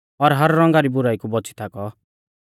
हर रौंगा री बुराई कु बौच़ी थाकौ